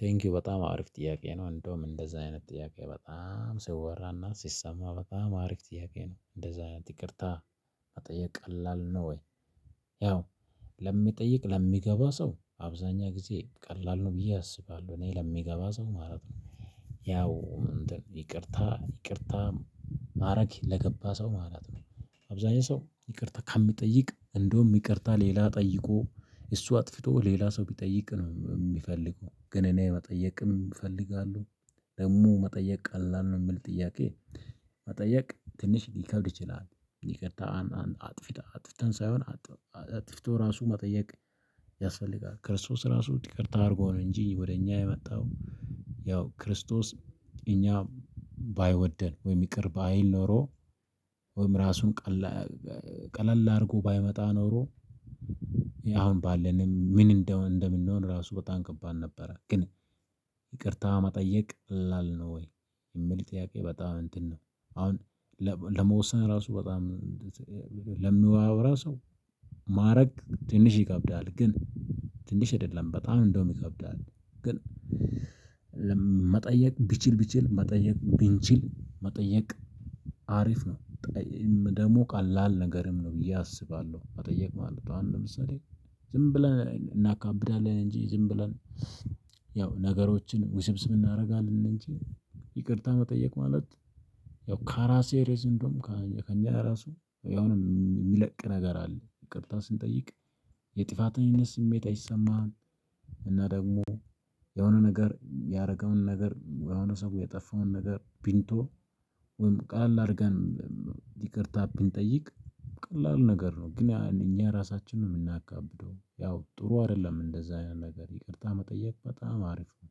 ቴንኪው በጣም አሪፍ ጥያቄ ነው እንደውም እንደዛ አይነት ጥያቄ በጣም ሲወራና ሲሰማ በጣም አሪፍ ጥያቄ ነው እንደዛ ይቅርታ ቀላል ነው ወይ? ያው ለሚጠይቅ ለሚገባ ሰው አብዛኛ ጊዜ ቀላል ነው ብዬ አስባለሁ እኔ ለሚገባ ሰው ማለት ነው። ያው ይቅርታ ይቅርታ ማድረግ ለገባ ሰው ማለት ነው። አብዛኛው ሰው ይቅርታ ከሚጠይቅ እንደውም ይቅርታ ሌላ ጠይቆ እሱ አጥፍቶ ሌላ ሰው ቢጠይቅ ነው የሚፈልገው ግን እኔ መጠየቅም እፈልጋለሁ። ደግሞ መጠየቅ ቀላል ነው የምል ጥያቄ? መጠየቅ ትንሽ ሊከብድ ይችላል ይቅርታ አጥፊታ አጥፍተን ሳይሆን አጥፍተው ራሱ መጠየቅ ያስፈልጋል። ክርስቶስ ራሱ ጥቅርታ አድርጎ ነው እንጂ ወደ እኛ የመጣው። ያው ክርስቶስ እኛ ባይወደን ወይም ይቅር ባይል ኖሮ ወይም ራሱን ቀለል አድርጎ ባይመጣ ኖሮ። አሁን ባለንም ምን እንደምንሆን ራሱ በጣም ከባድ ነበረ ግን። ይቅርታ መጠየቅ ቀላል ነው ወይ የሚል ጥያቄ በጣም እንትን ነው። አሁን ለመወሰን ራሱ በጣም ለሚያወራ ሰው ማዕረግ ትንሽ ይከብዳል ግን ትንሽ አይደለም በጣም እንደውም ይከብዳል ግን። መጠየቅ ቢችል ቢችል መጠየቅ ቢንችል መጠየቅ አሪፍ ነው። ደግሞ ቃላል ነገርም ነው ብዬ አስባለሁ። መጠየቅ አሁን ለምሳሌ ዝም ብለን እናካብዳለን እንጂ ዝም ብለን ያው ነገሮችን ውስብስብ እናደርጋለን እንጂ ይቅርታ መጠየቅ ማለት። ያው ካራሴሪዝ እንደውም ከእኛ ራሱ የሆነ የሚለቅ ነገር አለ ይቅርታ ስንጠይቅ። የጥፋተኝነት ስሜት አይሰማህም እና ደግሞ የሆነ ነገር ያደረገውን ነገር ወይ የሆነ ሰው የጠፋውን ነገር ብንተው። ወይም ቀለል አድርገን ይቅርታ ብንጠይቅ። ቀላል ነገር ነው ግን እኛ ራሳችንን የምናካብደው ያው ጥሩ አይደለም እንደዛ ነገር ይቅርታ መጠየቅ በጣም አሪፍ ነው።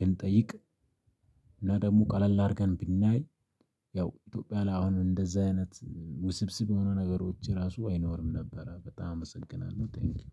ብንጠይቅ እና ደግሞ ቀለል አድርገን ብናይ ያው ኢትዮጵያ ላይ አሁን እንደዛ አይነት ውስብስብ የሆኑ ነገሮች ራሱ አይኖርም ነበረ። በጣም አመሰግናለሁ ቴንኪው